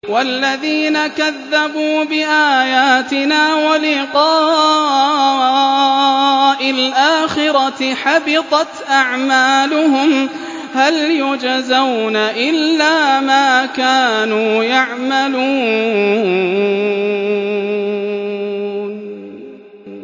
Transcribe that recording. وَالَّذِينَ كَذَّبُوا بِآيَاتِنَا وَلِقَاءِ الْآخِرَةِ حَبِطَتْ أَعْمَالُهُمْ ۚ هَلْ يُجْزَوْنَ إِلَّا مَا كَانُوا يَعْمَلُونَ